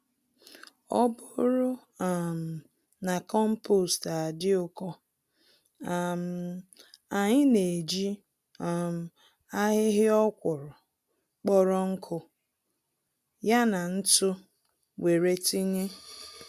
Ọbụrụ um na kompost adị ụkọ, um anyị n'eji um ahịhịa ọkwụrụ kpọrọ nkụ, ya na ntụ wéré tinye